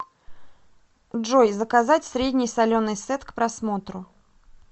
джой заказать средний соленый сет к просмотру